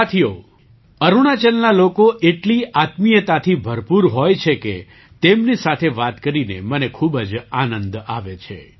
સાથીઓ અરુણાચલના લોકો એટલી આત્મીયતાથી ભરપૂર હોય છે કે તેમની સાથે વાત કરીને મને ખૂબ જ આનંદ આવે છે